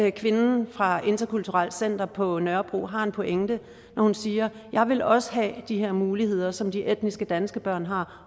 at kvinden fra interkulturelt center på nørrebro har en pointe når hun siger jeg vil også have de her muligheder som de etnisk danske børn har